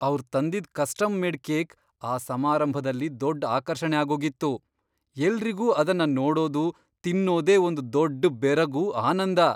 ಅವ್ರ್ ತಂದಿದ್ custom made cake ಆ ಸಮಾರಂಭದಲ್ಲಿ ದೊಡ್ಡ್ ಆಕರ್ಷಣೆ ಆಗೋಗಿತ್ತು. ಎಲ್ರಿಗೂ ಅದನ್ನ ನೋಡೋದು, ತಿನ್ನೋದೇ ಒಂದ್ ದೊಡ್ಡ್ ಬೆರಗು, ಆನಂದ.